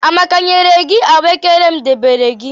amaka nyere gi ahụekere m debere gi?